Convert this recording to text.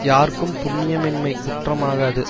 யார்க்கும் புண்ணியமின்மை குற்றமாகாது